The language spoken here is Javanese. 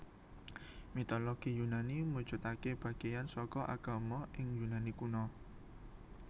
Mitologi Yunani mujudaké bagéyan saka agama ing Yunani Kuna